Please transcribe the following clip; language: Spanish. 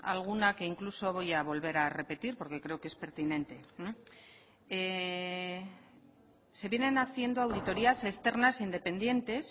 alguna que incluso voy a volver a repetir porque creo que es pertinente se vienen haciendo auditorias externas independientes